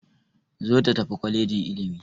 Zo ta tafi kwalejin ilimi!